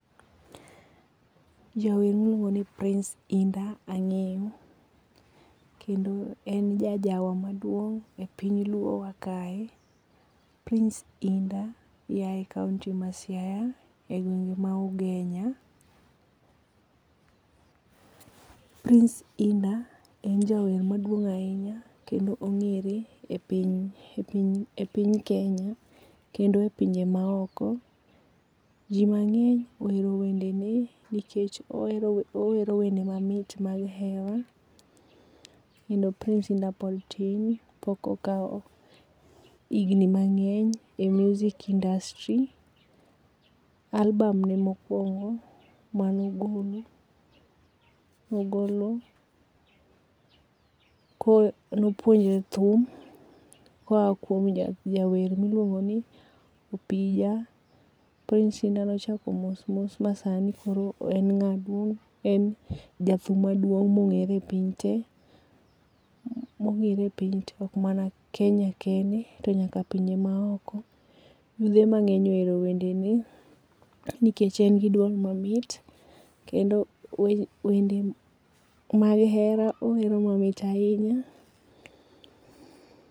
Jawer ma iluongo' ni Price indah ange'yo, kendo en ja jawa maduong' e piny luo wa kae, Prince indah yae county ma Siaya e gwenge' ma ugenya, Prince Indah en jawer maduong' ahinya kendo onge're e piny Kenya, kendo e pinje maoko, ji ma nge'ny ohero wendene nikech owero wende mamit mag hera kendo Prince Indah pod tin pok okawo igni mangeny e music industry, alburn ne mokuongo mogolo nogolo konopuonjore thum kaoa kuom jawer miluongo' ni opija, Price Indah nochako mos mos masani koro en nga' duong en jathum maduong' monge're pi te, monge're piny te ok mana Kenya kende to nyaka pinje maoko, yuthe mange'ny ohero wendene nikech en gi duol mamit kendo wende mag hera owero mamit ahinya